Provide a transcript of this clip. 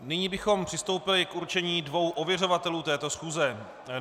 Nyní bychom přistoupili k určení dvou ověřovatelů této schůze.